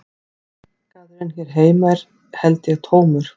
Markaðurinn hér heima er held ég tómur